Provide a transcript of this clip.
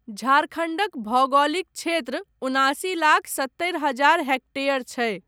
झारखण्डक भौगोलिक क्षेत्र उनासी लाख सत्तरि हजार हेक्टेयर छै।